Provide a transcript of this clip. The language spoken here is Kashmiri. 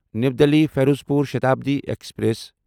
نیو دِلی فیروزپور شتابڈی ایکسپریس